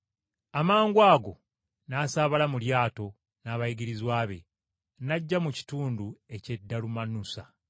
Amangwago n’asaabala mu lyato n’abayigirizwa be n’ajja mu kitundu eky’e Dalumanusa.